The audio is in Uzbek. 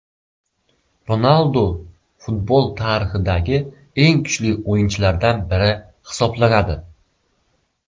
Ronaldu futbol tarixidagi eng kuchli o‘yinchilardan biri hisoblanadi.